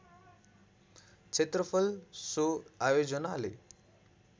क्षेत्रफल सो आयोजनाले